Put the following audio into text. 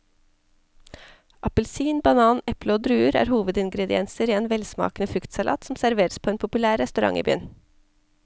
Appelsin, banan, eple og druer er hovedingredienser i en velsmakende fruktsalat som serveres på en populær restaurant i byen.